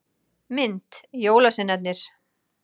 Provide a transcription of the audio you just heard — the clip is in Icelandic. Mynd: Jólasveinarnir.